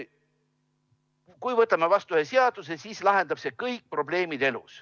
Kui võtame vastu ühe seaduse, siis lahendab see kõik probleemid.